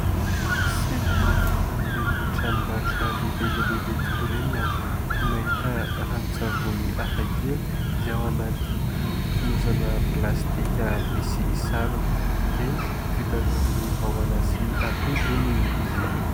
Sendra nandeha tamin'ireny tranombarotra lehibe dia lehibe tokoa ireny aho no nahita ranon-tsavony hafakely izay ao anaty fonosana plastika misarona, eny vita avy amin'ny vahona sy atody hono izy ireo.